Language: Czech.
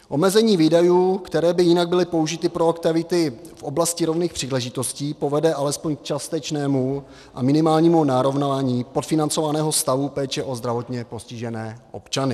Omezení výdajů, které by jinak byly použity pro aktivity v oblasti rovných příležitostí, povede alespoň k částečnému a minimálnímu narovnání podfinancovaného stavu péče o zdravotně postižené občany.